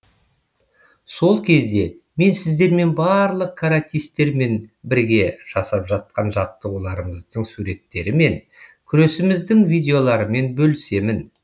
сол кезде мен сіздермен барлық каратисттермен бірге жасап жатқан жаттығуларымыздың суреттерімен күресіміздің видеоларымен бөлісемін